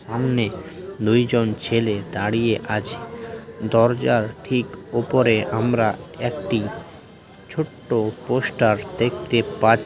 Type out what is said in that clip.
সামনেদুইজন ছেলে দাঁড়িয়ে আছে দরজার ঠিক উপরে আমরা একটি ছোট্ট পোস্টার দেখতে পা--